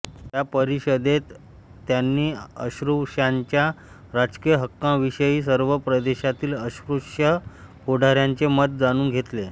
त्या परिषदेत त्यांनी अस्पृश्यांच्या राजकीय हक्कांविषयी सर्व प्रदेशातील अस्पृश्य पुढाऱ्यांचे मत जाणून घेतले